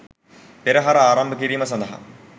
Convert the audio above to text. පෙරහර ආරම්භ කිරීම සඳහා